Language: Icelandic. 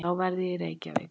Þá verð ég í Reykjavík.